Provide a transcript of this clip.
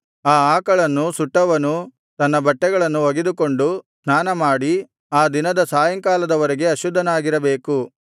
ಆ ಆಕಳನ್ನು ಸುಟ್ಟವನೂ ತನ್ನ ಬಟ್ಟೆಗಳನ್ನು ಒಗೆದುಕೊಂಡು ಸ್ನಾನಮಾಡಿ ಆ ದಿನದ ಸಾಯಂಕಾಲದವರೆಗೆ ಅಶುದ್ಧನಾಗಿರಬೇಕು